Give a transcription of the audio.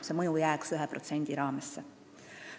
See mõju jääks 1% piiresse.